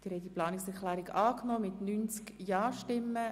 Sie haben die Planungserklärung 1 angenommen.